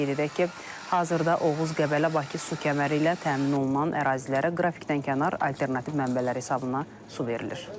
Qeyd edək ki, hazırda Oğuz-Qəbələ-Bakı su kəməri ilə təmin olunan ərazilərə qrafikdən kənar alternativ mənbələr hesabına su verilir.